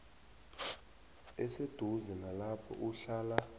eseduze nalapho uhlala